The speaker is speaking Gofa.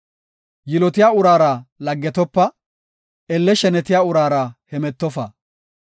Yilotiya uraara laggetopa; elle shenetiya uraara hemetofa.